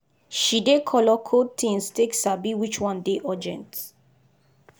she dey color code things take sabi which one dey urgent.